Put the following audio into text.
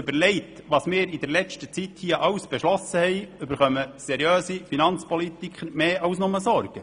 Überlegt man sich, was wir hier in letzter Zeit alles beschlossen haben, bereitet dies seriösen Finanzpolitikern mehr als nur Sorgen.